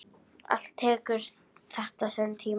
Allt tekur þetta sinn tíma.